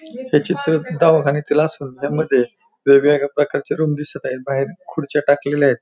हे चित्र दवाखान्यातील असल त्यामध्ये वेगवेगळ्या प्रकारच्या रूम दिसत आहे बाहेर खुर्च्या टाकलेल्या आहेत.